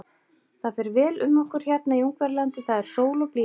Það fer vel um okkur hérna í Ungverjalandi, það er sól og blíða.